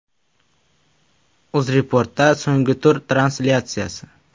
UzReport’da so‘nggi tur translyatsiyasi.